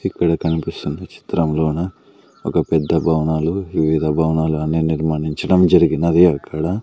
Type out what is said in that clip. ఇక్కడ కనిపిస్తున్న చిత్రంలోన ఒక పెద్ద భవనాలు వివిధ భవనాలు అన్ని నిర్మానించడం జరిగినది అక్కడ.